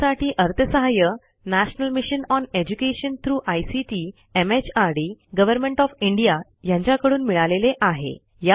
यासाठी अर्थसहाय्य national mission on education through ICT MHRD government of India यांच्याकडून मिळालेले आहे